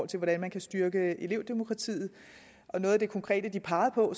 til hvordan man kan styrke elevdemokratiet noget af det konkrete de pegede på